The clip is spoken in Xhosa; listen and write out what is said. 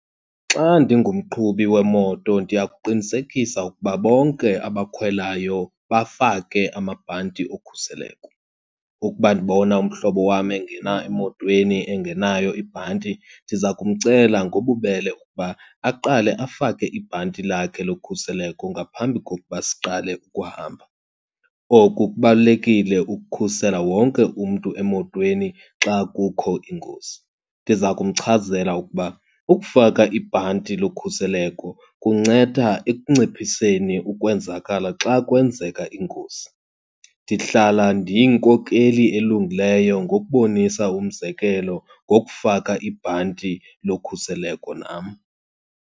Xa ndingumqhubi wemoto, ndiya kuqinisekisa ukuba bonke abakhwelayo bafake amabhanti okhuseleko. Ukuba ndibona umhlobo wam engena emotweni engenayo ibhanti, ndiza kumcela ngobubele uba aqale afake ibhanti lakhe lokhuseleko ngaphambi kokuba siqale ukuhamba. Oku kubalulekile ukukhusela wonke umntu emotweni xa kukho ingozi. Ndiza kumchazela ukuba ukufaka ibhanti lokhuseleko kunceda ekunciphiseni ukwenzakala xa kwenzeka ingozi. Ndihlala ndiyinkokheli elungileyo ngokubonisa umzekelo ngokufaka ibhanti lokhuseleko nam.